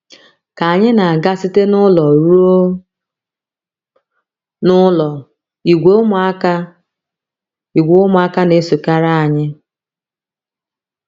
Ka anyị na - aga site n’ụlọ ruo n’ụlọ, ìgwè ụmụaka, ìgwè ụmụaka na - esokarị anyị.